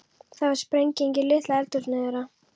Það varð sprenging í litla eldhúsinu þeirra.